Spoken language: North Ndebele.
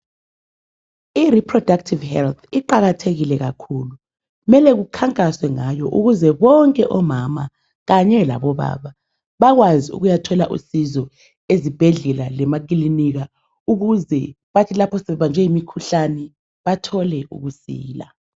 I"reproductive health"iqakathekile kakhulu .Kumele kukhankaswe ngayo kuze bonke omama kanye labobaba bakwazi ukuyathola usizo ezibhedlela lemakilinika ukuze bathi lapho sebebanjwe yimikhuhlane bathole ukusila.